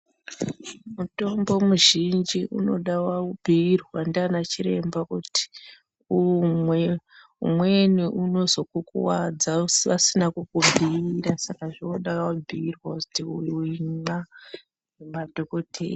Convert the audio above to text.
Mitombo mizhinji inoda waibhiirwa nana chiremba kuti umweni unozokukuwadza usina kukubhuira zvinoda wabhuirwa kuti uyu imwa nemadhokhodheya.